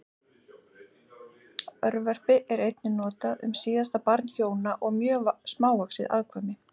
Örverpi er einnig notað um síðasta barn hjóna og mjög smávaxið afkvæmi.